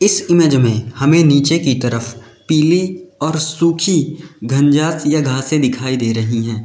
इस इमेज में हमें नीचे की तरफ पीली और सुखी घनजाच या घासें दिखाई दे रही हैं।